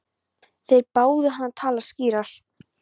Þeir báðu hann að tala skýrar.